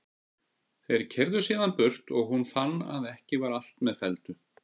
Þeir keyrðu síðan burt og hún fann að ekki var allt með felldu.